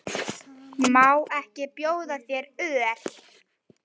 Má ekki bjóða þér öl?